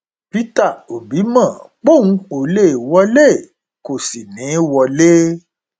peter obi mọ póun ó lè wọlé kó sì ní í wọlé